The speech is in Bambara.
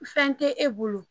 Fɛn tɛ e bolo